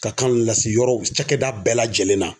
Ka kan ninnu lase yɔrɔw cakɛda bɛɛ lajɛlen na.